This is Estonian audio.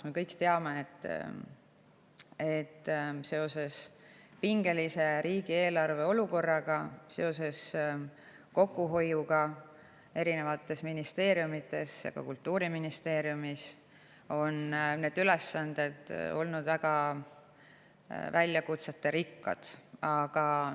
Me kõik teame, et seoses riigieelarve pingelise olukorraga, seoses kokkuhoiuga erinevates ministeeriumides, ka Kultuuriministeeriumis, on need ülesanded olnud väga väljakutserikkad.